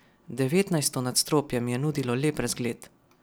Devetnajsto nadstropje mi je nudilo lep razgled.